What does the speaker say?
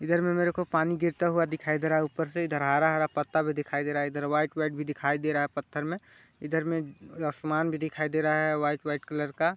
इधर में मेरे को पानी गिरता हुआ दिखाई दे रहा है ऊपर से इधर हरा-हरा पत्ता भी दिखाई दे रहा है इधर व्हाइट व्हाइट भी दिखाई दे रहा है पत्थर में इधर में आसमान भी दिखाई दे रहा है व्हाइट कलर का--